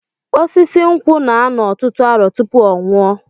Osisi nkwụ na-anọ ọtụtụ arọ tụpụ ọnwụ ọ